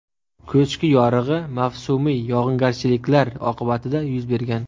Ko‘chki yorig‘i mavsumiy yog‘ingarchiliklar oqibatida yuz bergan.